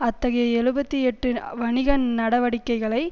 அத்தகைய எழுபத்தி எட்டு வணிக நடவடிக்கைகளை